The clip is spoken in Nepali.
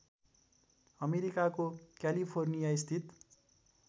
अमेरिकाको क्यालिफोर्नियास्थित